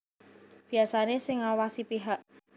Biasané sing ngawasi pihak